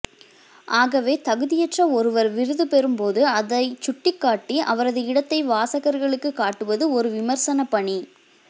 ஆகவே தகுதியற்ற ஒருவர் விருது பெறும்போது அதைச் சுட்டிக்காட்டி அவரது இடத்தை வாசகர்களுக்கு காட்டுவது ஒரு விமரிசனப் பணி